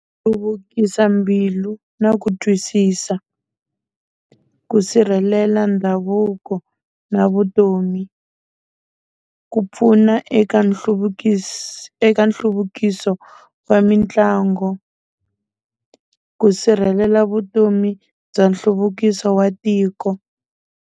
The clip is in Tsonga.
Hluvukisa mbilu na ku twisisa, ku sirhelela ndhavuko na vutomi, ku pfuna eka eka nhluvukiso wa mitlangu, ku sirhelela vutomi bya nhluvukiso wa tiko.